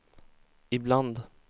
ibland